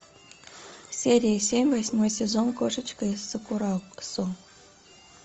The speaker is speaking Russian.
серия семь восьмой сезон кошечка из сакурасо